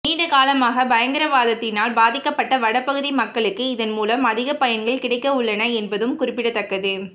நீண்டகாலமாக பயங்கரவாதத்தினால் பாதிக்கப்பட்ட வடபகுதி மக்களுக்கு இதன் மூலம் அதிக பயன்கள் கிடைக்கவுள்ளன என்பதும் குறிப்பிடத்தக்கது